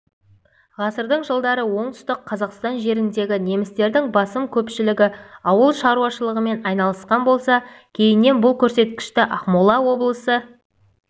ғасырдың жылдары оңтүстік қазақстан жеріндегі немістердің басым көпшілігі ауыл шаруашылығымен айналысқан болса кейіннен бұл көрсеткішті ақмола облысы